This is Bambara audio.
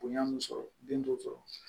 Bonya min sɔrɔ den t'o sɔrɔ